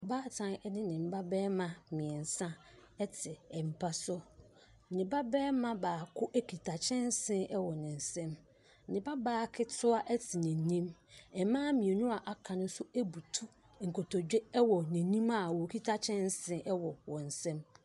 Baatan ne ne mma barima mmeɛnsa te mpa so. Ne babarima baako kita kyɛnse wɔ ne nsam. Ne babaa ketewa te n'anim. Mmaa mmienu a aka no nso butu nkotodwe wɔ n'anim a ɔkita kyɛnse wɔ wɔn nsam.